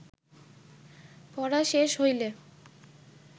পড়া শেষ হইলে